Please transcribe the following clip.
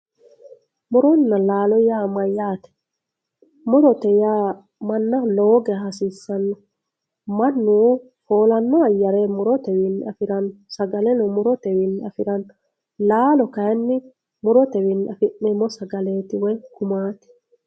muronna laalo yaa mayaate murote yaa mannaho lowo geeya hasiissannote mannu foolanno ayaare murotewiinni afiranno sagaleno murotewiini afiranno laalo kaayiini murotewiini afi'neemo sagaleti woy gumati